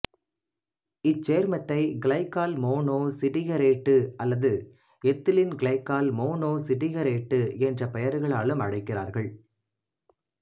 இச்சேர்மத்தை glycol monostearate அல்லது ethylene glycol monostearate என்ற பெயர்களாலும் அழைக்கிறார்கள்